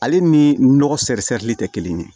Ale ni nɔgɔ tɛ kelen ye